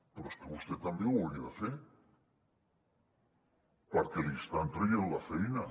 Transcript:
però és que vostè també ho hauria de fer perquè li estan traient la feina